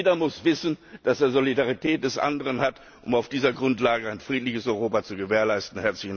Jeder muss wissen, dass er die Solidarität des anderen hat, um auf dieser Grundlage ein friedliches Europa zu gewährleisten.